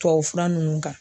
Tubabufura ninnu kan